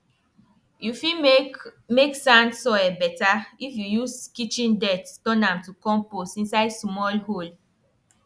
you fit make make sand soil better if you use kitchen dirt turn am to compost inside small hole